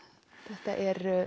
þetta er